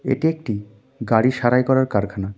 এটি একটি গাড়ি সাড়াই করার কারখানা।